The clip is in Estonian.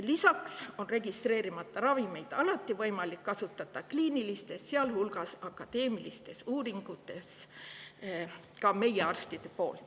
Lisaks on registreerimata ravimeid alati võimalik kasutada ka meie arstidel kliinilistes, sealhulgas akadeemilistes uuringutes.